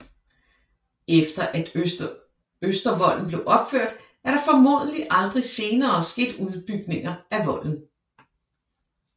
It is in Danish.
Efter at Østervolden blev opført er der formodentlig aldrig senere sket udbygninger af volden